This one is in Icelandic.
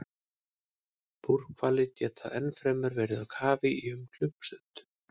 Búrhvalir geta ennfremur verið í kafi í um klukkustund.